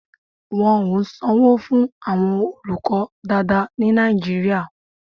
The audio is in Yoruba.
Wọn ò sanwó fún àwọn olùkọ́ dáadáa ní Nàìjíríà.